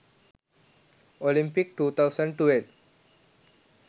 olympic 2012